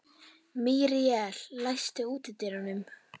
Míríel, læstu útidyrunum.